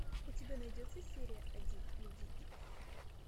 у тебя найдется серия один люди икс